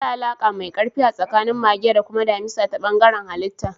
Akwai alaƙa mai ƙarfi a tsakanin mage da kuma damisa ta bangaren halitta.